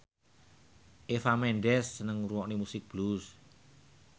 Eva Mendes seneng ngrungokne musik blues